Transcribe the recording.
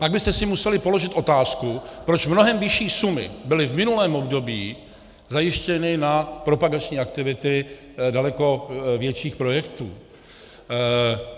Pak byste si museli položit otázku, proč mnohem vyšší sumy byly v minulém období zajištěny na propagační aktivity daleko větších projektů.